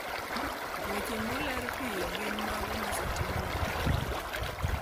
Weche moler piny gin mago ma osetimne lokruok.